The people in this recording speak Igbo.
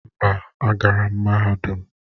Mba, agara m mahadum.